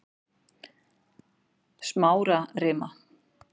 Smárarima